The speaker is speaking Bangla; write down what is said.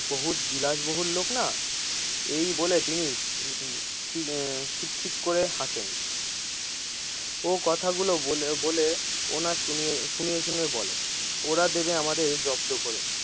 বহুত বিলাস বহুল লোকনা, এই বলে তিনি উম তিনি খিক খিক করে হাসেন ও কথা গুলো বলে বলে কথা গুলো শুনিয়ে শুনিয়ে বলে, ওরা দিবে আমাদের জব্দ করে দিবে।